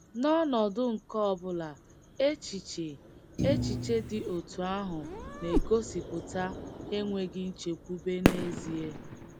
N’ọnọdụ nke ọ bụla, echiche echiche dị otú ahụ na - egosipụta enweghị nchekwube n’ezie.